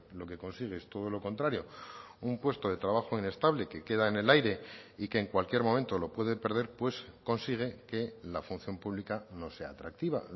lo que consigue es todo lo contrario un puesto de trabajo inestable que queda en el aire y que en cualquier momento lo puede perder pues consigue que la función pública no sea atractiva